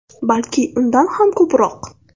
Balki undan ham ko‘proq.